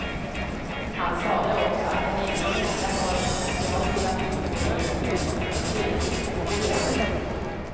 Han sade också att han ännu inte har tackat ja till att ingå i en rådgivande styrelse för operan.